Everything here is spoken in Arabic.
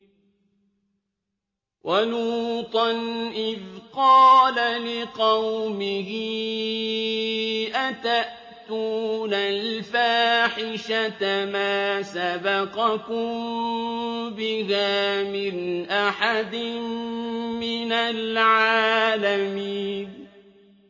وَلُوطًا إِذْ قَالَ لِقَوْمِهِ أَتَأْتُونَ الْفَاحِشَةَ مَا سَبَقَكُم بِهَا مِنْ أَحَدٍ مِّنَ الْعَالَمِينَ